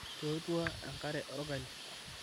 totua ekare orgali